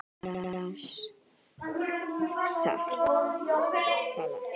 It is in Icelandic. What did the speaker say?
Franskt salat